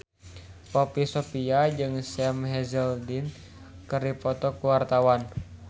Poppy Sovia jeung Sam Hazeldine keur dipoto ku wartawan